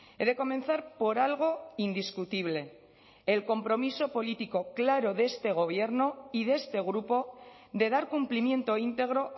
he de comenzar por algo indiscutible el compromiso político claro de este gobierno y de este grupo de dar cumplimiento íntegro